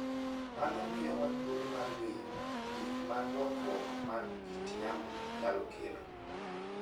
Mano miyowa thuolo mar ng'eyo gik ma lokruok mar kit yamo nyalo kelo.